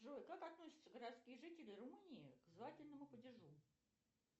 джой как относятся городские жители румынии к звательному падежу